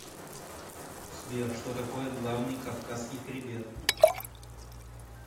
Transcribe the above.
сбер что такое главный кавказский хребет